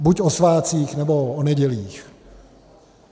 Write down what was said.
Buď o svátcích, nebo o nedělích.